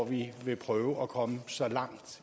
vi vil prøve at komme så langt